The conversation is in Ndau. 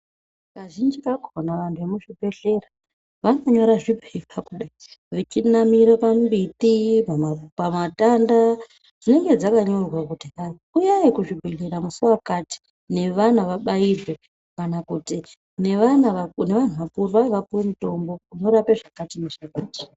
Kazhinji kakhona vanhu vekuzvibhehlera vanonyora zvipepa kudai, vechinamire pambiti, pamatenda dzinge dzakanyorwa kuti hai uyai kuzvibhedhlera musi wakati nevana vabairwe kana kuti nevanhu vakuru vapuwe mutombo unorape zvakati nezvakati.